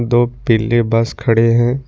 दो पीली बस खड़े हैं।